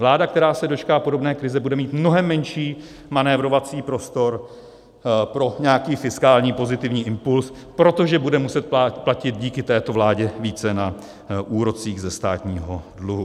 Vláda, která se dočká podobné krize, bude mít mnohem menší manévrovací prostor pro nějaký fiskální pozitivní impuls, protože bude muset platit díky této vládě více na úrocích ze státního dluhu.